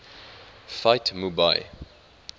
fight mu bai